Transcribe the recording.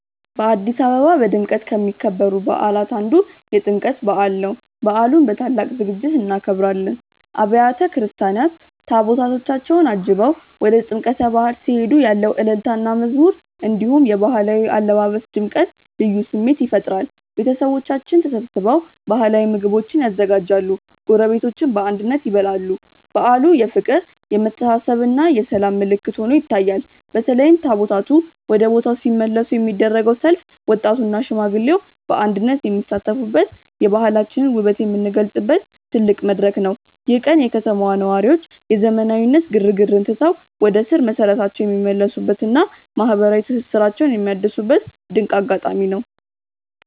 በአዲስ አበባ በድምቀት ከሚከበሩ በዓላት አንዱ የጥምቀት በዓል ነው። በዓሉን በታላቅ ዝግጅት እናከብራለን። አብያተ ክርስቲያናት ታቦታታቸውን አጅበው ወደ ጥምቀተ ባሕር ሲሄዱ ያለው እልልታና መዝሙር፣ እንዲሁም የባህላዊ አለባበስ ድምቀት ልዩ ስሜት ይፈጥራል። ቤተሰቦቻችን ተሰብስበው ባህላዊ ምግቦችን ያዘጋጃሉ፤ ጎረቤቶችም በአንድነት ይበላሉ። በዓሉ የፍቅር፣ የመተሳሰብና የሰላም ምልክት ሆኖ ይታያል። በተለይም ታቦታቱ ወደ ቦታው ሲመለሱ የሚደረገው ሰልፍ ወጣቱና ሽማግሌው በአንድነት የሚሳተፉበት፣ የባህላችንን ውበት የምንገልጽበት ትልቅ መድረክ ነው። ይህ ቀን የከተማዋ ነዋሪዎች የዘመናዊነት ግርግርን ትተው ወደ ስር መሰረታቸው የሚመለሱበትና ማህበራዊ ትስስራቸውን የሚያድሱበት ድንቅ አጋጣሚ ነው።